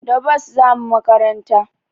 Da bus zamu makaranta